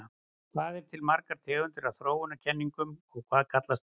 Hvað eru til margar tegundir af þróunarkenningum og hvað kallast þær?